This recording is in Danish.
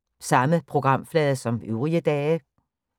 Samme programflade som øvrige dage